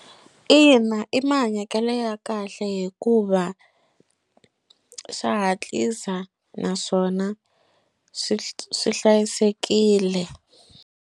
Ina, i mahanyekelo ya kahle hikuva swa hatlisa naswona swi swi hlayisekile.